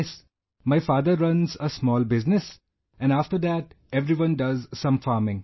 Yes my father runs a small business and after thateveryone does some farming